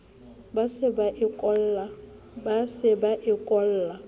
ba se ba e kolla